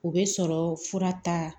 O bɛ sɔrɔ fura ta